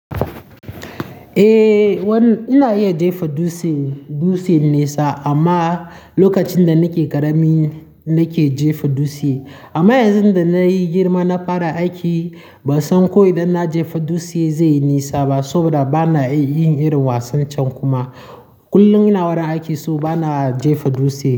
Eh, ina iya jefa dutse, dutse nesa amma lokacin da nake ƙarami nake jefa dutse. Amma yanzu da na yi girma na fara aiki, ban san ko idan na jefa dutse zai yi nesa ba saboda ba na yin irin wasan can kuma. Kullum ina warin aiki so ba na jefa dutse.